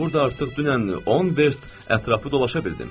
Mən burda artıq dünən 10 verst ətrafı dolaşa bildim.